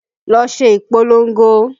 Lọ ṣe ìpolongo!